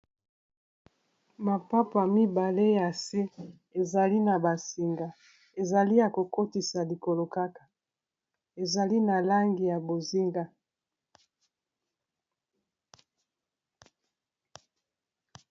Mapapa mibale ya se ezali na basinga ezali ya kokotisa likolo kaka ezali na langi ya bozinga